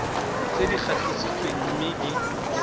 tse di gatisitsweng mme di